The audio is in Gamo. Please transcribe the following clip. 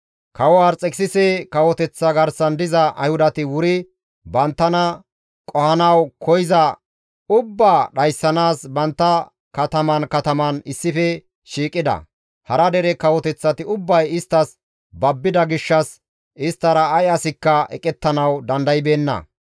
Kawo Arxekisise kawoteththa garsan diza Ayhudati wuri banttana qohanawu koyza ubbaa dhayssanaas bantta kataman kataman issife shiiqida. Hara dere kawoteththati ubbay isttas babbida gishshas isttara ay asikka eqettanawu dandaybeenna.